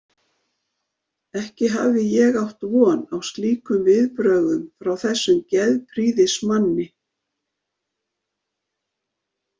Ekki hafði ég átt von á slíkum viðbrögðum frá þessum geðprýðismanni.